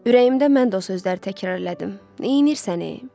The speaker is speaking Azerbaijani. Ürəyimdə mən də o sözləri təkrar elədim: Neynisən e?